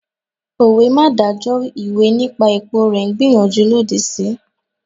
Òwe 'má dájọ́ ìwé nípa èpo rẹ̀' n gbàníyànjú lòdì sí